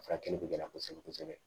Furakɛli bɛ gɛlɛya kosɛbɛ kosɛbɛ